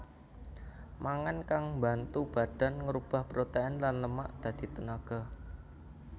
Mangan kang mbantu badan ngrubah protèin lan lemak dadi tenaga